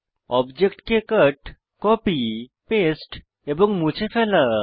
অবজেক্টকে cut copy paste এবং মুছে ফেলা